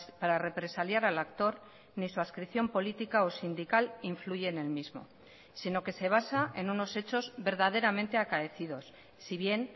para represaliar al actor ni su adscripción política o sindical influye en el mismo sino que se basa en unos hechos verdaderamente acaecidos si bien